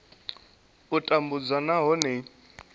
a u tambudzwa nahone i